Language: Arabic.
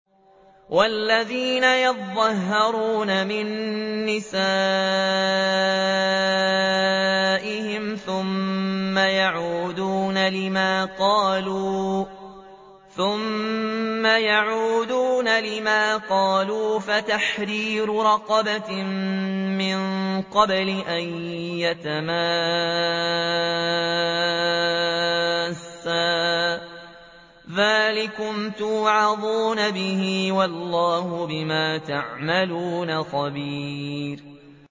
وَالَّذِينَ يُظَاهِرُونَ مِن نِّسَائِهِمْ ثُمَّ يَعُودُونَ لِمَا قَالُوا فَتَحْرِيرُ رَقَبَةٍ مِّن قَبْلِ أَن يَتَمَاسَّا ۚ ذَٰلِكُمْ تُوعَظُونَ بِهِ ۚ وَاللَّهُ بِمَا تَعْمَلُونَ خَبِيرٌ